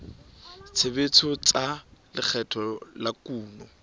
tshebetso tsa lekgetho la kuno